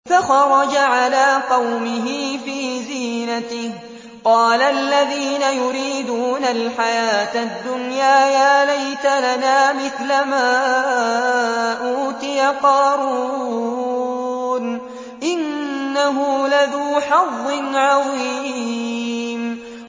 فَخَرَجَ عَلَىٰ قَوْمِهِ فِي زِينَتِهِ ۖ قَالَ الَّذِينَ يُرِيدُونَ الْحَيَاةَ الدُّنْيَا يَا لَيْتَ لَنَا مِثْلَ مَا أُوتِيَ قَارُونُ إِنَّهُ لَذُو حَظٍّ عَظِيمٍ